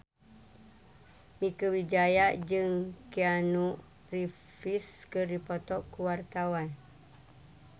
Mieke Wijaya jeung Keanu Reeves keur dipoto ku wartawan